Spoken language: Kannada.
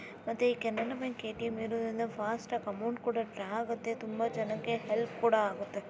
ಮತ್ತೆ ಈ ಕೆನರಾ ಬ್ಯಾಂಕ್‌ ಎ.ಟಿ.ಎಂ. ಇರುವುದರಿಂದ ಫಾಸ್ಟ್‌ ಆಗಿ ಅಮೌಂಟ್ ಕೂಡ ಡ್ರಾ ಆಗುತ್ತೆ ತುಂಬಾ ಜನಕ್ಕೆ ಹೆಲ್ಪ್ ಕೂಡ ಆಗುತ್ತೆ.